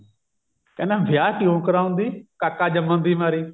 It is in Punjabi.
ਕਹਿੰਦਾ ਵਿਆਹ ਕਿਉਂ ਕਰਾਉਂਦੀ ਕਾਕਾ ਜੰਮਨ ਦੀ ਮਾਰੀ